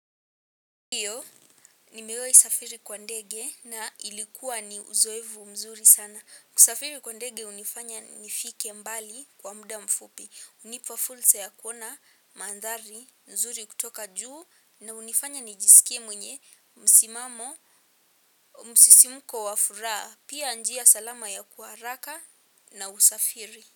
Ndiyo, nimewahi safiri kwa ndege na ilikuwa ni uzoevu mzuri sana. Kusafiri kwa ndege hunifanya nifike mbali kwa muda mfupi. Unipa fursa ya kuona, mandhari, nzuri kutoka juu na unifanya nijisikie mwenye, msimamo, msisimuko wafuraha, pia njia salama ya kuaraka na usafiri.